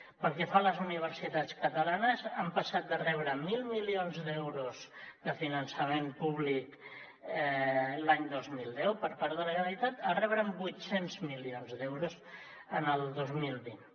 pel que fa a les universitats catalanes han passat de rebre mil milions d’euros de finançament públic l’any dos mil deu per part de la generalitat a rebre vuit cents milions d’euros el dos mil vint